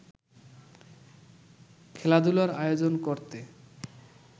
খেলাধুলার আয়োজন করতে